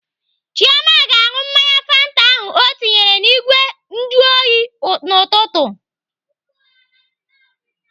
Chioma ga-aṅụ mmanya fanta ahụ ọ tinyere n'igwe njuoyi n'ụtụtụ.